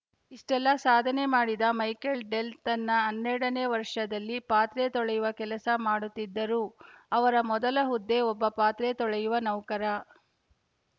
ಇಷ್ಟೆಲ್ಲ ಸಾಧನೆ ಮಾಡಿದ ಮೈಕೆಲ್‌ ಡೆಲ್‌ ತನ್ನ ಹನ್ನೆರಡನೇ ವರ್ಷದಲ್ಲಿ ಪಾತ್ರೆ ತೊಳೆಯುವ ಕೆಲಸ ಮಾಡುತ್ತಿದ್ದರು ಅವರ ಮೊದಲ ಹುದ್ದೆ ಒಬ್ಬ ಪಾತ್ರೆ ತೊಳೆಯುವ ನೌಕರ